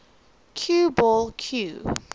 cue ball cue